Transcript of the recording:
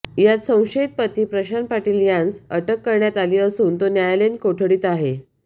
यात संशयित पती यात प्रशांत पाटील यासत अटक करण्यात आली असून तो न्यायालयीन कोठडीत आहे